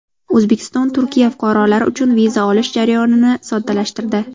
O‘zbekiston Turkiya fuqarolari uchun viza olish jarayonini soddalashtirdi.